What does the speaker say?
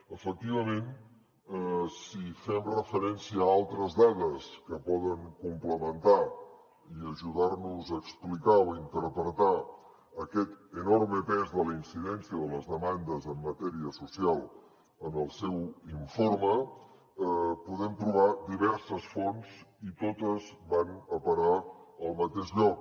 efectivament si fem referència a altres dades que poden complementar i ajudar nos a explicar o interpretar aquest enorme pes de la incidència de les demandes en matèria social en el seu informe podem trobar diverses fonts i totes van a parar al mateix lloc